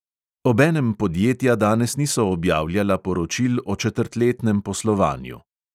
Obenem podjetja danes niso objavljala poročil o četrtletnem poslovanju.